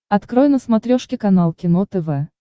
открой на смотрешке канал кино тв